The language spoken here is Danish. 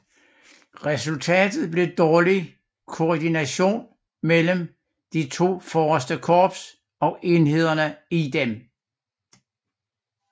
Resultatet blev dårlig koordination mellem de to forreste Korps og enhederne i dem